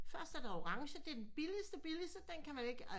Først er der orange det er den billigeste billigeste den kan man ikke